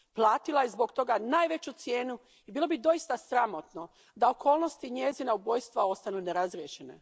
Platila je zbog toga najveću cijenu i bilo bi doista sramotno da okolnosti njezina ubojstva ostanu nerazrješene.